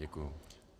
Děkuji.